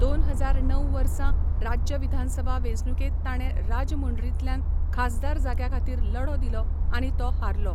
दोन हजार णव वर्सां राज्य विधानसभा वेंचणुकेंत ताणें राजमुंड्रींतल्यान खासदार जाग्या खातीर लढो दिलो आनी तो हारलो.